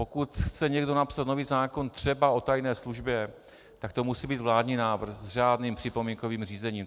Pokud chce někdo napsat nový zákon třeba o tajné službě, tak to musí být vládní návrh s řádným připomínkovým řízením.